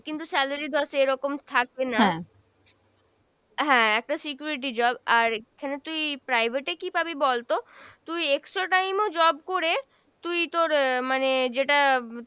কিন্তু salary ধর সেরকম থাকবে না। হ্যাঁ একটা security job আর এখানে তুই private এ কী পাবি বলতো, তুই extra time ও job করে তুই তোর আহ মানে যেটা